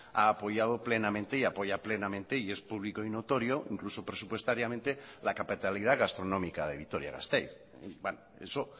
ha apoyado plenamente y apoya plenamente y es público y notorio incluso presupuestariamente la capitalidad gastronómica de vitoria gasteiz eso